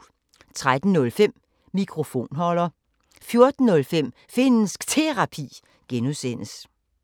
13:05: Mikrofonholder 14:05: Finnsk Terapi (G)